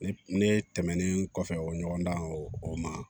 Ne ne tɛmɛnnen kɔfɛ o ɲɔgɔn dan ye o ma